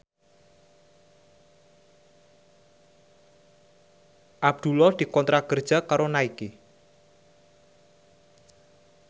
Abdullah dikontrak kerja karo Nike